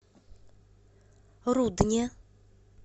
рудне